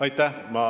Aitäh!